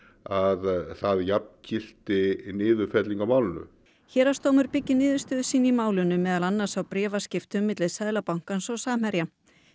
að það jafngilti niðurfellingu á málinu héraðsdómur byggði niðurstöðu sína í málinu meðal annars á bréfaskiptum Seðlabankans og Samherja